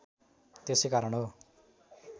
त्यसै कारण हो